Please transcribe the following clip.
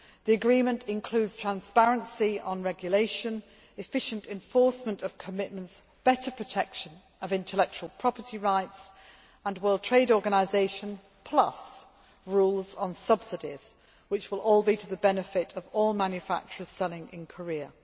The agreement includes transparency on regulation, efficient enforcement of commitments, better protection of intellectual property rights and WTO plus' rules on subsidies which will all be to the benefit of all manufacturers selling in Korea.